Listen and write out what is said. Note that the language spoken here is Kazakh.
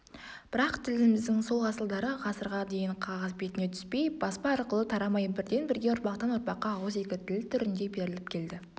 бірақ тіліміздің сол асылдары ғасырға дейін қағаз бетіне түспей баспа арқылы тарамай бірден-бірге ұрпақтан-ұрпаққа ауызекі тіл түрінде беріліп келді